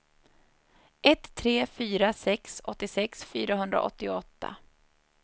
ett tre fyra sex åttiosex fyrahundraåttioåtta